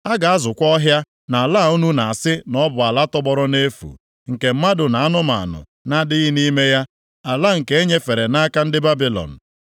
A ga-azụkwa ọhịa + 32:43 Ya bụ, ala ubi nʼala a unu na-asị na ọ bụ ala tọgbọrọ nʼefu, nke mmadụ na anụmanụ na-adịghị nʼime ya, ala nke e nyefere nʼaka ndị Babilọn.